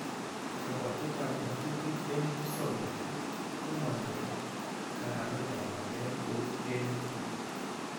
Kabwatetab ngatutik en musoknotet komanyoor kanametab ngalek kou en niton"